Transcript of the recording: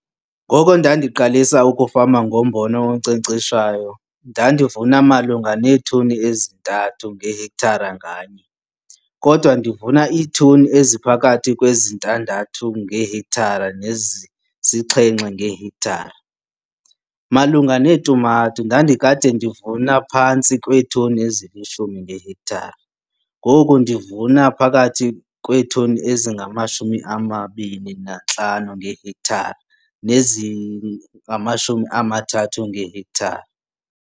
Ngoko ndandiqalisa ukufama ngombona onkcenkceshwayo, ndandivuna malunga neetoni eziyi-3 ngehektare nganye kodwa ndivuna iitoni eziphakathi kwezi-6 ngehektare nezisi-7 ngehektare. Malunga neetumato ndandikade ndivuna ngaphantsi kweetoni ezili-10 ngehektare, ngoku ndivuna phakathi kweetoni eziyi-25 ngehektare neziyi-30 ngehektare.